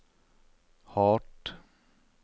hardt